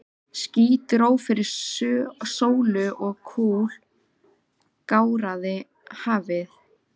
Ský dró fyrir sólu og kul gáraði hafið.